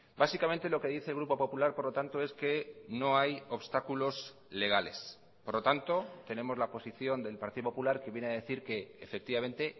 básicamente lo que dice el grupo popular por lo tanto es que no hay obstáculos legales por lo tanto tenemos la posición del partido popular que viene a decir que efectivamente